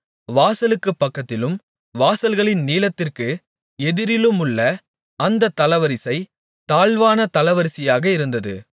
வாசலுக்குப் பக்கத்திலும் வாசல்களின் நீளத்திற்கு எதிரிலுமுள்ள அந்தத் தளவரிசை தாழ்வான தளவரிசையாக இருந்தது